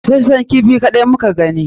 Busashshen kifi kaɗai muka gani